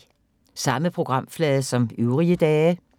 Samme programflade som øvrige dage